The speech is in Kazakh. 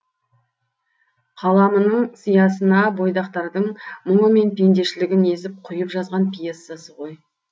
қаламының сиясына бойдақтардың мұңы мен пендешілігін езіп құйып жазған пьесасы ғой